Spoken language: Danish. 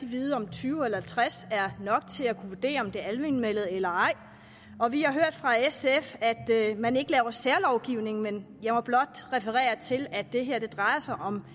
vide om tyve eller halvtreds er nok til at kunne vurdere om det er almenvellet eller ej og vi har hørt fra sf at man ikke laver særlovgivning men jeg må blot referere til at det her drejer sig om